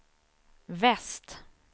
väst